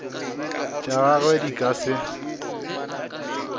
tša gagwe di ka se